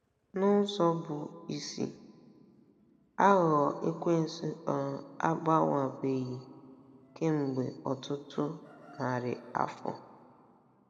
N'ụzọ bụ́ isi, aghụghọ Ekwensu um agbanwebeghị kemgbe um ọtụtụ um narị afọ.